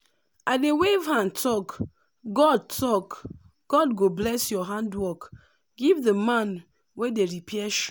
i dey wave hand talk “god talk “god go bless your handwork” give the man wey dey repair shoe